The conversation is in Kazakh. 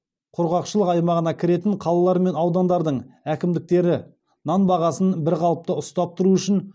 құрғақшылық аймағына кіретін қалалар мен аудандардың әкімдіктері нан бағасын бір қалыпта ұстап тұру үшін